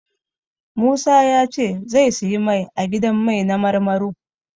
Musa ya ce zai siyi mai a gidan mai na Marmaro.